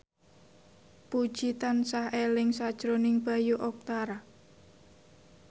Puji tansah eling sakjroning Bayu Octara